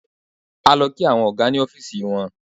A lọ kí àwọn ọ̀gá ní ọ́fíísì wọn.